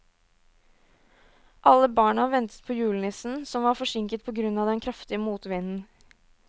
Alle barna ventet på julenissen, som var forsinket på grunn av den kraftige motvinden.